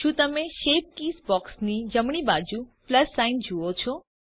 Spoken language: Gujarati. શું તમે શેપ કીઝ બોક્સની જમણી બાજુ પ્લસ સાઇન જુઓ છો